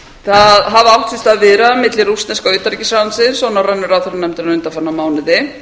það hafa átt sér stað viðræður milli rússneska utanríkisráðuneytisins og norrænu ráðherranefndarinnar undanfarna mánuði